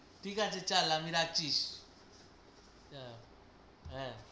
ঠিক আছে চল আমি রাখছি, হ্যাঁ